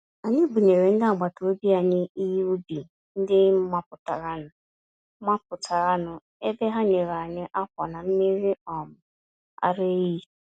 Anyị bunyere ndị àgbàtàobi anyị ihe ubi ndị mapụtara nụ, mapụtara nụ, ebe ha nyere anyị ákwà na mmiri um ara ehi.